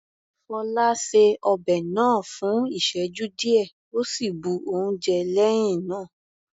Fola ṣe ọbẹ̀ náà fún ìsẹ́jú díẹ̀ ó sì bu oúnjẹ lẹ́hìn náà.